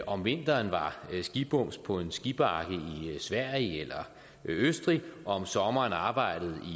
om vinteren var skibums på en skibakke i sverige eller østrig og om sommeren arbejdede